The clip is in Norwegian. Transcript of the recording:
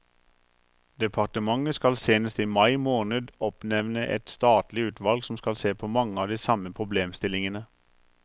Departementet skal senest i mai måned oppnevne et statlig utvalg som skal se på mange av de samme problemstillingene.